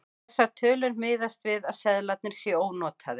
Þessar tölur miðast við að seðlarnir séu ónotaðir.